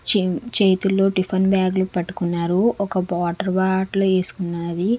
చెం-- చేతుల్లో టిఫిన్ బ్యాగులు పట్టుకున్నారు ఒక వాటర్ బాటిల్ వేసుకున్నాది.